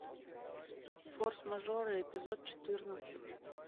форс мажоры эпизод четырнадцать